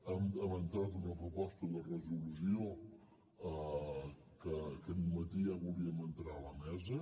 hem entrat una proposta de resolució que aquest matí ja volíem entrar a la mesa